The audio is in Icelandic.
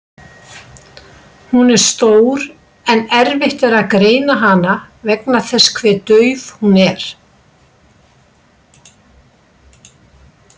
Hún er stór en erfitt er að greina hana vegna þess hve dauf hún er.